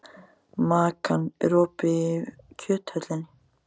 Makan, er opið í Kjöthöllinni?